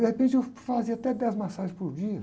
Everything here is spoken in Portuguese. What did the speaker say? De repente, eu fazia até dez massagens por dia.